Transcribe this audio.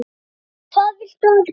SKÚLI: Hvað viltu gera?